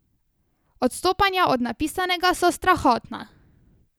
Odstopanja od napisanega so strahotna.